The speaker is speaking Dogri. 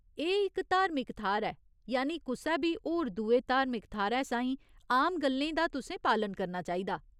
एह् इक धार्मिक थाह्‌र ऐ, यानि कुसै बी होर दुए धार्मिक थाह्‌रै साहीं आम गल्लें दा तुसें पालन करना चाहिदा।